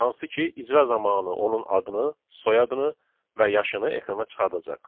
Hansı ki, icra zamanı onun adını, soyadını və yaşını ekrana çıxardacaq.